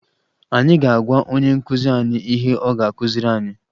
Anyị ga-agwa onye nkụzi anyị ihe ọ ga-akụziri anyị